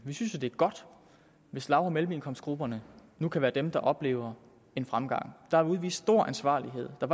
vi synes det er godt hvis lav og mellemindkomstgrupperne nu kan være dem der oplever en fremgang der er udvist stor ansvarlighed og der